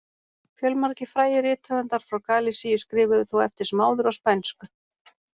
Fjölmargir frægir rithöfundar frá Galisíu skrifuðu þó eftir sem áður á spænsku.